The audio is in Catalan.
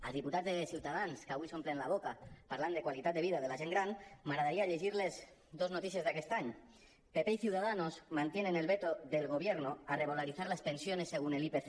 als diputats de ciutadans que avui s’omplen la boca parlant de qualitat de vida de la gent gran m’agradaria llegir los dos notícies d’aquest any pp y ciudadanos mantienen el veto del gobierno a revalorizar las pensiones según el ipc